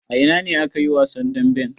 A ina ne aka yi wasan damben?